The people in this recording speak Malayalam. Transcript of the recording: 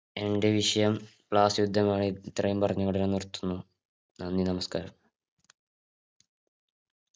എൻ്റെ വിഷയം ബ്ലാസ് യുദ്ധമായി ഇത്രയും പറഞ്ഞഓടെ ഞാൻ നിര്ത്തുന്നു നന്ദി നമസ്കാരം